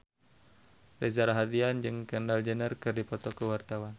Reza Rahardian jeung Kendall Jenner keur dipoto ku wartawan